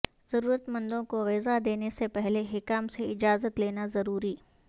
ضرورتمندوں کو غذا دینے سے پہلے حکام سے اجازت لینا ضروری